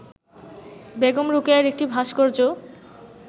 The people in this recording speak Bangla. বেগম রোকেয়ার একটি ভাস্কর্য